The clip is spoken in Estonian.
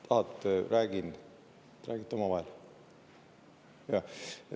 Tahate, et ma räägin, või räägite omavahel?